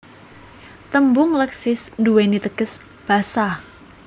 Tembung Leksis duwéni teges Basa